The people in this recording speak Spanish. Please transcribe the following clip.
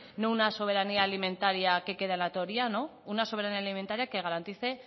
no una soberanía alimentaria que queda en la teoría no una soberanía alimentaria que garantice